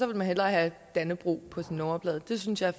man hellere have dannebrog på sin nummerplade det synes jeg